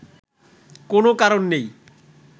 কোন কারণ নেই